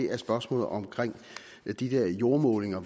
er spørgsmålet om de der jordmålinger